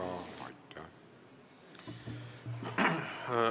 Kas te ei arva, et see leping tuleks lõpetada?